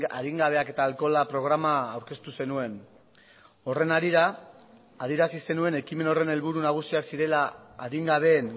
adingabeak eta alkohola programa aurkeztu zenuen horren harira adierazi zenuen ekimen horren helburu nagusiak zirela adingabeen